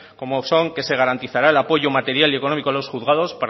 como son que se garantizará el apoyo material y económico a los juzgados